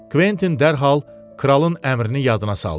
Kventin dərhal kralın əmrini yadına saldı.